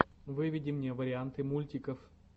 выведи мне варианты мультиков